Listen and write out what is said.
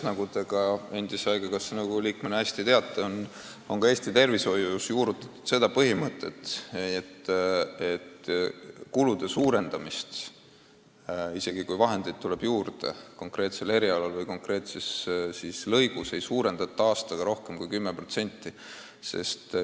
Nagu te ka haigekassa nõukogu liikmena hästi teate, on Eesti tervishoius juurutatud põhimõtet, et isegi kui konkreetsel erialal või konkreetses lõigus raha juurde tuleb, siis aastaga kõige rohkem 10%.